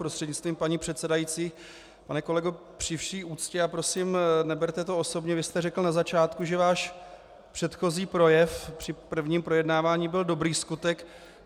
Prostřednictvím paní předsedající pane kolego, při vší úctě, a prosím, neberte to osobně, vy jste řekl na začátku, že váš předchozí projev, při prvním projednávání, byl dobrý skutek.